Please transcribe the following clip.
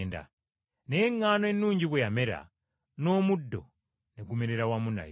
Naye eŋŋaano ennungi bwe yamera, n’omuddo ne gumerera wamu nayo.